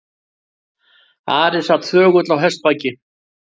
Ari sat þögull á hestbaki.